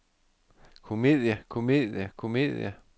komedie komedie komedie